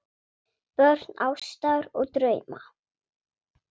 Börn ástar og drauma